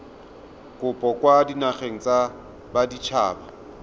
kopo kwa dinageng tsa baditshaba